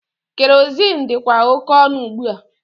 Kerozin dịkwa oke ọnụ ugbua.